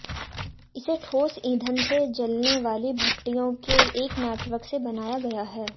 इसे ठोस ईंधन से जलने वाली भट्टियों के एक नेटवर्क से बनाया गया है